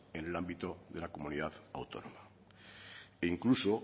en el ámbito de la comunidad autónoma incluso